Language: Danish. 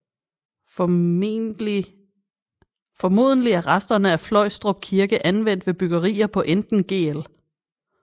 Formodentlig er resterne af Fløjstrup Kirke anvendt ved byggerier på enten Gl